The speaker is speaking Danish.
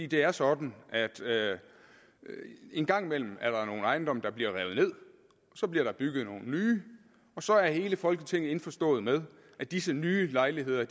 det er sådan at en gang imellem er der nogle ejendomme der bliver revet ned og så bliver der bygget nogle nye og så er hele folketinget indforstået med at disse nye lejligheder